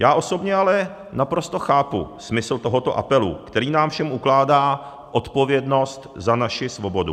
Já osobně ale naprosto chápu smysl tohoto apelu, který nám všem ukládá odpovědnost za naši svobodu.